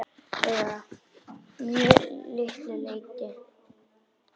Eða að mjög litlu leyti.